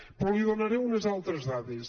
però li donaré unes altres dades